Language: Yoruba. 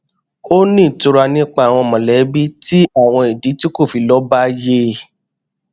ó ní ìtura nípa àwọn mọlẹbí tí àwọn ìdí tí kò le fi lọ bá yé